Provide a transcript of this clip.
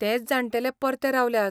तेंच जाण्टेले परते रावल्यात.